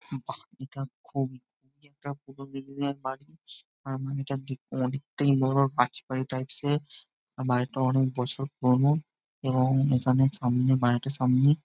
এটি খুবই একটা পুরোনো দিনের বাড়ি বাড়িটা দেখতে অনেকটা বড়ো রাজবাড়ি টাইপ -এর | বাড়িটা অনেক বছর পুরোনো এবং এখানে সামনে বাড়িটার সামনে ।